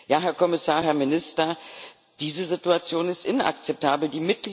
Ja, Herr Kommissar, Herr Minister, diese Situation ist inakzeptabel.